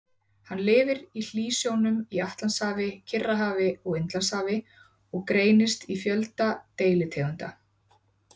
Hann lifir í hlýsjónum í Atlantshafi, Kyrrahafi og Indlandshafi og greinist í fjölda deilitegunda.